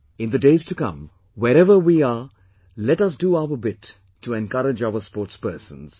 In the days to come, wherever we are, let us do our bit to encourage our sportspersons